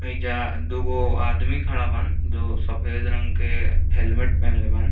एइजा दुगो आदमी खड़ा बान जो सफ़ेद रंग के हेलमेट पहिनले बान।